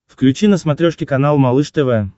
включи на смотрешке канал малыш тв